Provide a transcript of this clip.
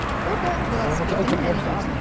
Orda velosipedim məni gözləyir.